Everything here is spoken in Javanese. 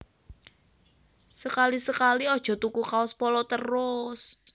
Sekali sekali ojo tuku kaos Polo terus